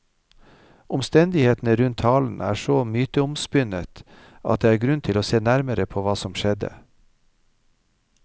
Omstendighetene rundt talen er så myteomspunnet at det er grunn til å se nærmere på hva som skjedde.